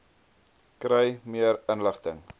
kry meer inligting